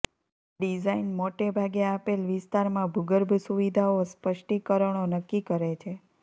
design મોટે ભાગે આપેલ વિસ્તારમાં ભૂગર્ભ સુવિધાઓ સ્પષ્ટીકરણો નક્કી કરે છે